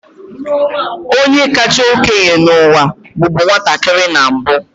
Onye kacha okenye n'ụwa bụbu nwatakịrị na mbu.